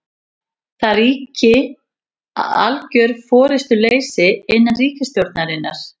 Það ríki algjör forystuleysi innan ríkisstjórnarinnar